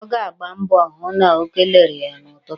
Ọ ga-agba mbọ hụ na o kelere ya n'ụtụtụ.